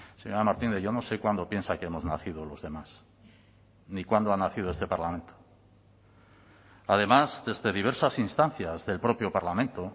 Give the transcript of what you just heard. señora martínez yo no sé cuándo piensa que hemos nacido los demás ni cuándo ha nacido este parlamento además desde diversas instancias del propio parlamento